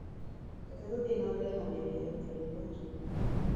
Reke tũthiĩ na mbere na mĩario ya ũikarĩri wa njũng'wa.